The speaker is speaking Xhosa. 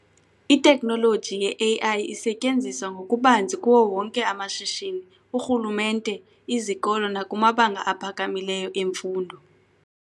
Itekhnoloji ye-AI isetyenziswa ngokubanzi kuwo wonke amashishini, urhulumente, izokolo nakumabanga aphakamileyo emfundo.